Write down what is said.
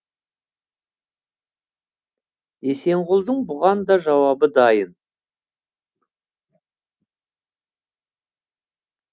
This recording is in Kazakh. есенғұлдың бұған да жауабы дайын